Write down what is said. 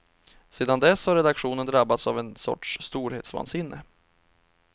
Sedan dess har redaktionen drabbats av en sorts storhetsvansinne.